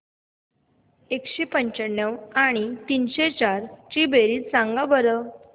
एकशे पंच्याण्णव आणि तीनशे चार ची बेरीज सांगा बरं